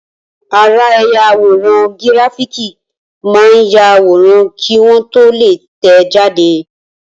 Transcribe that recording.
Ara ẹ̀yà àwòrán gíráfìkì máa ń yàwòrán kí wọ́n tó lè tẹ̀ẹ́ jáde